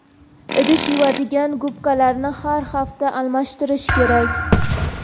Idish yuvadigan gubkalarni har hafta almashtirish kerak.